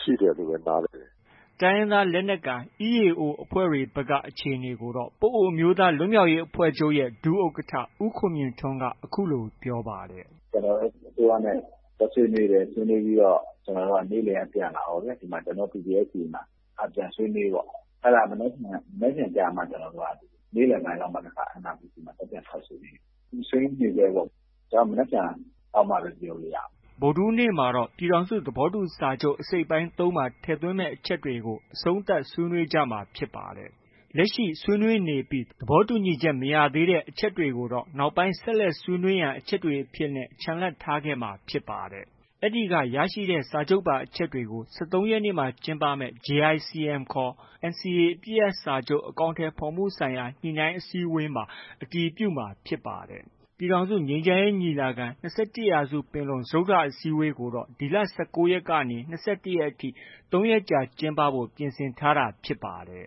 ရှိတယ်လို့ပဲ နားလည်တယ်။” တိုင်းရင်းသားလက်နက်ကိုင် EAO အဖွဲ့တွေဘက်က အခြေအနေကိုတော့ ပအိုဝ်းအမျိုးသား လွတ်မြောက်ရေး အဖွဲ့ချုပ်ရဲ့ ဒုဥက္ကဌ ဦးခွန်မြင့်ထွန်းက အခုလို ပြောပါတယ်။ “ကျနော်တို့ အစိုးရနဲ့ သွားဆွေးနွေးတယ်။ ဆွေးနွေးပြီးတော့ ကျနော်တို့ နေ့လည်က ပြန်လာရောဗျာ။ အခု ကျနော်တို့ PPST မှာ ပြန်ဆွေးနွေးပေါ့။ အဲဒါ မနက်ဖြန်ကျမှ ကျနော်တို့က နေ့လည်ပိုင်းလောက်မှ NRPC မှာ သွားပြန်ဆွေးနွေးရမှာ။ ကျနော်တို့ ဆွေးနွေးနေဆဲပေါ့။ မနက်ဖြန်လောက်မှပဲ ကျနော်တို့ ပြောလို့ ရမယ်။ ” ဗုဒ္ဓဟူးနေ့မှာတော့ ပြည်ထောင်စုသဘောတူစာချုပ်အစိတ်အပိုင်း ၃မှာ ထည့်သွင်းမယ့် အချက်တွေကို အဆုံးသတ် ဆွေးနွေးကြမှာ ဖြစ်ပါတယ်။ လက်ရှိ ဆွေးနွေးနေပြီး သဘောတူညီချက် မရသေးတဲ့ အချက်တွေကိုတော့ နောက်ပိုင်းဆက်လက်ဆွေးနွေးရန် အချက်တွေအဖြစ်နဲ့ ချန်လှပ်ထားခဲ့မှာဖြစ်ပါတယ်။ အဲဒီက ရရှိလာတဲ့ စာချုပ်ပါ အချက်တွေကို ၁၃ရက်နေ့မှာ ကျင်းပမယ့် JICM ခေါ် NCA အပစ်ရပ်စာချုပ် အကောင်အထည်ဖေါ်မှုဆိုင်ရာ ညှိနှိုင်းအစည်းအဝေးမှာ အတည်ပြုမှာဖြစ်ပါတယ်။ ပြည်ထောင်စုငြိမ်းချမ်းရေးညီလာခံ- ၂၁ရာစုပင်လုံစတုတ္ထအစည်းအဝေးကိုတော့ ဒီလ ၁၉ ရက်ကနေ ၂၁ရက်ထိ ၃ရက်ကြာကျင်းပဖို့ ပြင်ဆင်ထားတာဖြစ်ပါတယ်